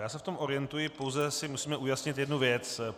Já se v tom orientuji, pouze si musíme ujasnit jednu věc.